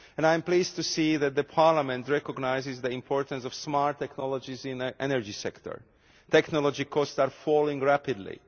I am pleased to see that Parliament recognises the importance of smart technologies in the energy sector. Technology costs are falling rapidly.